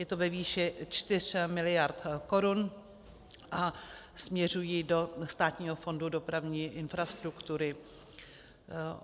Je to ve výši 4 miliard korun a směřují do Státního fondu dopravní infrastruktury.